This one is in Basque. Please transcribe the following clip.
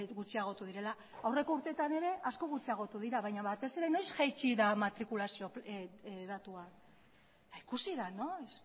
gutxiagotu direla aurreko urteetan ere asko gutxiagotu dira baina batez ere noiz jaitsi da matrikulazio datua ikusi da noiz